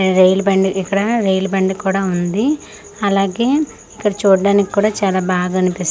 ఇది రైలు బండి ఇక్కడ రైలు బండి కూడా ఉంది అలాగే ఇక్కడ చూడ్డానికి కూడా చాలా బాగనిపిస్--